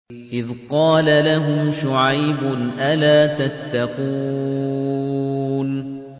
إِذْ قَالَ لَهُمْ شُعَيْبٌ أَلَا تَتَّقُونَ